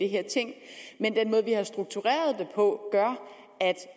her ting men den måde vi har struktureret det på gør at